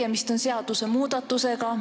Tegemist on seadusmuudatusega.